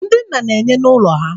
ndị nna na-enye n'ụlọ ha